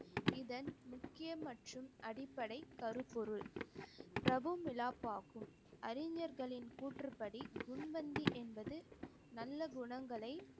இதன் முக்கிய மற்றும் அடிப்படை கருப்பொருள் பிரபு அறிஞர்களின் கூற்றுப்படி குண்வந்தி என்பது நல்ல குணங்களை